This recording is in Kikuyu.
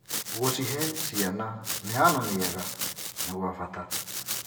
Gũcihe ciana mĩhano mĩega nĩ gwa bata.